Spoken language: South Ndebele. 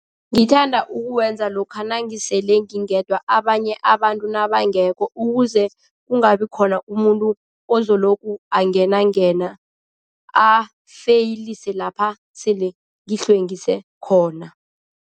Ngithanda ukuwenza lokha nangisele ngingedwa, abanye abantu nabangekho ukuze kungabi khona umuntu ozolokhu angenangena, afeyilise lapha sele ngihlwengise khona.